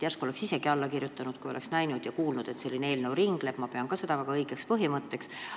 Järsku oleksin isegi eelnõule alla kirjutanud, kui oleksin näinud ja kuulnud, et selline eelnõu ringleb, sest ka mina pean seda väga õigeks põhimõtteks.